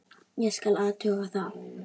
Ég skal athuga það.